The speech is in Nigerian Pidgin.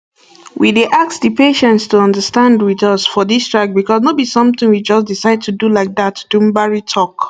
we dey ask di patients to understand wit us for dis strike becos no be somtin we just decide to do like dat dumbari tok